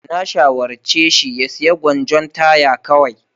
Na shawarce shi ya sayi gwanjon taya kawai.